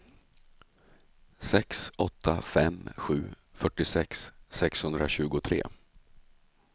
sex åtta fem sju fyrtiosex sexhundratjugotre